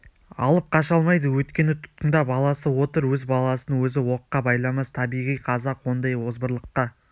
алып қаша алмайды өйткені тұтқында баласы отыр өз баласын өзі оққа байламас табиғи қазақ ондай озбырлыққа